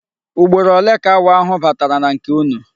Ugboro ole ka awọ ahu batara na nke unu?